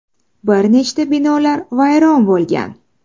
Bir nechta binolar vayron bo‘lgan.